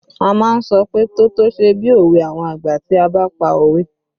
A má ń sọ pé "tótó ṣe bí òwe àwọn àgbà" tí a bá pa òwe